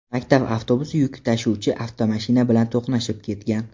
Maktab avtobusi yuk tashuvchi avtomashina bilan to‘qnashib ketgan.